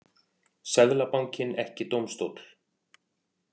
Seðlabankinn ekki dómstóll